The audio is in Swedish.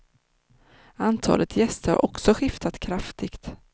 Antalet gäster har också skiftat kraftigt.